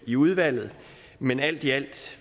i udvalget men alt i alt